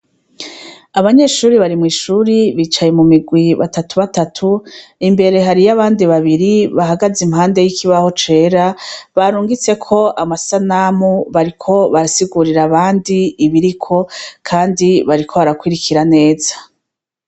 Abanyeshure bari mw'ishure, bicaye mu migwi batatu batatu, imbere hari abandi babiri bahagaze imbere y'ikibaho cera, barungitseko amasanamu, bariko barasigurira abandi ibiriko kandi bariko barakurikira neza.